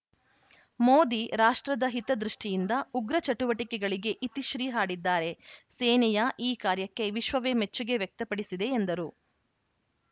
ಮೋದಿ ರಾಷ್ಟ್ರದ ಹಿತದೃಷ್ಟಿಯಿಂದ ಉಗ್ರ ಚಟುವಟಿಕೆಗಳಿಗೆ ಇತಿಶ್ರೀ ಹಾಡಿದ್ದಾರೆ ಸೇನೆಯ ಈ ಕಾರ್ಯಕ್ಕೆ ವಿಶ್ವವೇ ಮೆಚ್ಚುಗೆ ವ್ಯಕ್ತಪಡಿಸಿದೆ ಎಂದರು